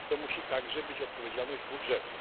To musi także być odpowiedzialność budżetu.